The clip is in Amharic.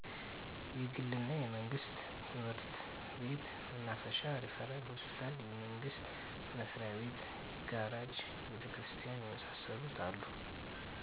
የግል እና የመንግስት ትምህርት ቤት፣ መናፈሻ፣ ሪፈራል ሆስፒታል፣ የመንግስት መስሪያቤት፣ ጋራጅ፣ ቤተክርስቲያን የመሳሰሉት አሉ።